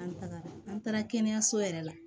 An tagara an taara kɛnɛyaso yɛrɛ la